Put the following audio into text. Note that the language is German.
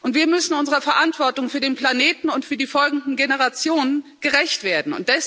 Wir müssen unserer Verantwortung für den Planeten und für die folgenden Generationen gerecht werden.